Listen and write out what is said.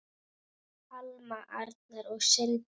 Alma, Arnar og synir.